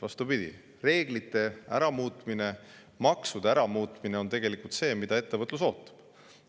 Vastupidi, reeglite muutmine, maksude muutmine on tegelikult see, mida ettevõtlus ootab.